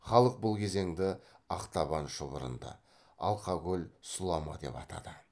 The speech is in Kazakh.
халық бұл кезеңді ақтабан шұбырынды алқакөл сұлама деп атады